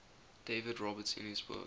david roberts in his book